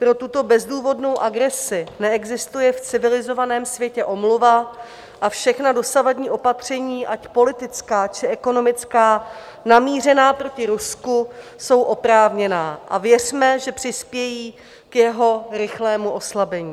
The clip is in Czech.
Pro tuto bezdůvodnou agresi neexistuje v civilizovaném světě omluva a všechna dosavadní opatření, ať politická, či ekonomická, namířená proti Rusku jsou oprávněná a věřme, že přispějí k jeho rychlému oslabení.